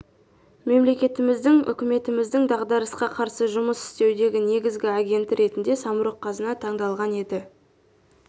мемлекетіміздің үкіметіміздің дағдарысқа қарсы жұмыс істеудегі негізгі агенті ретінде самұрық-қазына таңдалған еді